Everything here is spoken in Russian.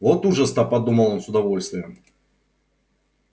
вот ужас то подумал он с удовольствием